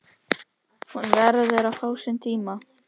Hún verður að fá sinn tíma.